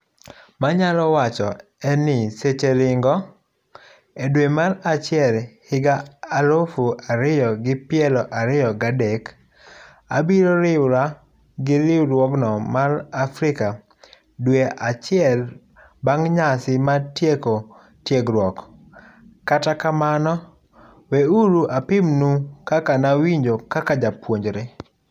Manyalo wacho en ni seche ringo! Edwe mar achiel higaalufu ariyo gi piero ariyo gadek, abiro riwra gi riwruogno mar Africa dwe achiel bang' nyasi mar tieko tiegruok, kata kamano weuru apimnu kaka nawinjo kaka japuojnre.